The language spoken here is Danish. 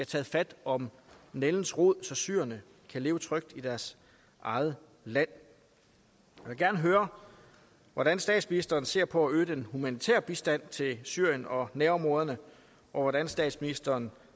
taget fat om nældens rod så syrerne kan leve trygt i deres eget land jeg vil gerne høre hvordan statsministeren ser på at øge den humanitære bistand til syrien og nærområderne og hvordan statsministeren